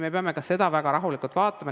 Me peame ka seda väga rahulikult vaatama.